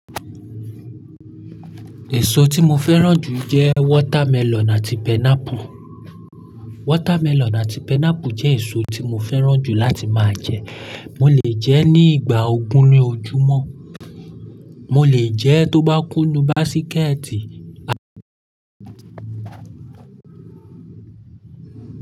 Èso tí mo fẹ́ràn jù jẹ́ watermelon àti pineapple. Watermelon àti pineapple jẹ́ èso tí mo fẹ́ràn jù láti máa jẹ. Mo lè jẹ ẹ́ ní ìgbà ogún ní ojúmọ́, mo lè jẹ ẹ́ tó bá kúnú básíkẹ́ẹ̀tì.